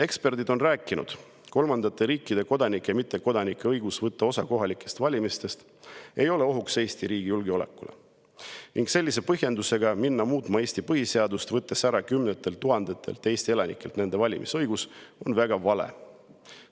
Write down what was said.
Eksperdid on rääkinud, et kolmandate riikide kodanike ja mittekodanike õigus võtta osa kohalikest valimistest ei ole ohuks Eesti riigi julgeolekule ning minna sellise põhjendusega muutma Eesti põhiseadust, võttes kümnetelt tuhandetelt Eesti elanikelt ära nende valimisõigus, on väga vale.